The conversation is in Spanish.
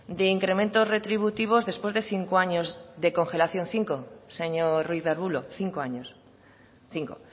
de incrementos retributivos después de cinco años de congelación cinco señor ruiz de arbulo cinco años cinco